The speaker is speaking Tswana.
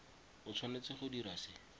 o tshwanetse go dira se